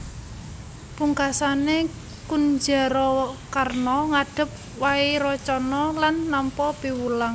Pungkasané Kunjarakarna ngadhep Wairocana lan nampa piwulang